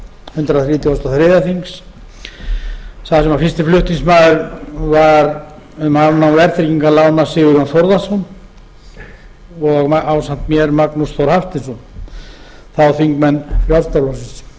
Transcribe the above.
hundrað þrítugasta og þriðja þings þar sem fyrsti flutningsmaður var um afnám verðtryggingarlána sigurjón þórðarson og ásamt mér magnús þór hafsteinsson þá þingmenn frjálslynda flokksins